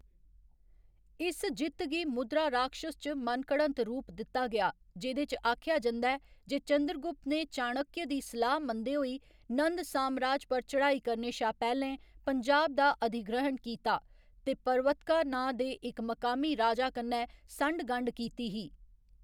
इस जित्त गी मुद्राराक्षस च मनघड़त रूप दित्ता गेआ, जेह्‌‌‌दे च आखेआ जंदा ऐ जे चंद्रगुप्त ने चाणक्य दी सलाह्‌‌ मनदे होई नंद सामराज पर चढ़ाई करने शा पैह्‌लें पंजाब दा अधिग्रहण कीता ते परवत्का नांऽ दे इक मकामी राजा कन्नै संढ गंढ कीती ही।